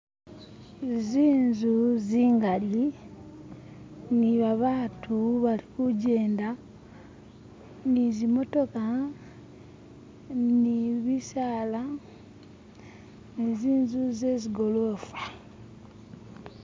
Zi'nzu zingali ni babatu bali kujenda nizimotoka, nibisala, ni zi'nzu zezigolofa.